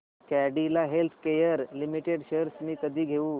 Cadila healthcare limited shares मी कधी घेऊ